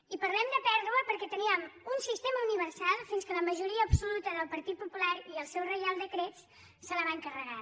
i parlem de pèrdua perquè teníem un sistema universal fins que la majoria absoluta del partit popular i el seu reial decret se’l van carregar